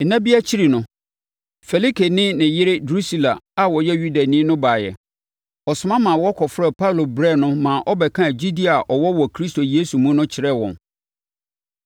Nna bi akyi no, Felike ne ne yere Drusila a ɔyɛ Yudani no baeɛ. Ɔsoma ma wɔkɔfrɛɛ Paulo brɛɛ no maa ɔbɛkaa gyidie a ɔwɔ wɔ Kristo Yesu mu no kyerɛɛ wɔn.